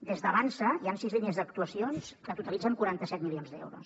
des d’avançsa hi han sis línies d’actuacions que totalitzen quaranta set milions d’euros